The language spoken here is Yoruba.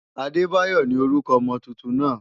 Adedayo ni orúkọ ọmọ tuntun náà.